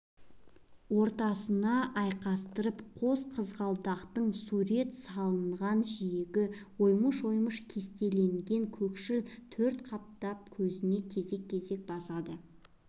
ортасына айқастырып қос қызғалдақтың сурет салынған жиегі оймыш-оймыш кестеленген көкшіл төрт қаттап көзіне кезек-кезек басады